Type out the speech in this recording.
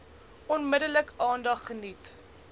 onmiddellik aandag geniet